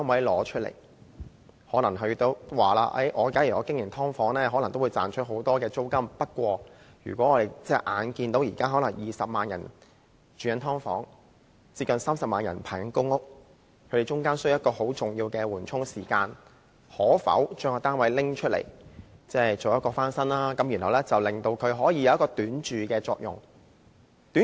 他們表示，假如他們經營"劏房"，也可能會賺取很多租金，但看到現在可能有20萬人住在"劏房"，有接近30萬人正在輪候公屋，這些人需要在輪候期間在住屋上得到緩衝，於是便騰出單位翻新，供他們短住。